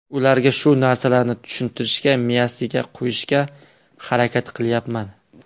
Ularga shu narsalarni tushuntirishga, miyasiga qo‘yishga harakat qilyapman.